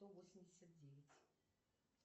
сто восемьдесят девять